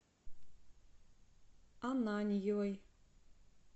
ананьевой